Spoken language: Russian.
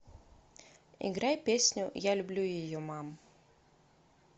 играй песню я люблю ее мам